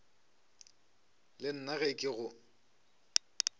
le nna ge ke go